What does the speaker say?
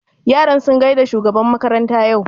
Yaran sun gaida shugaban makaranta yau?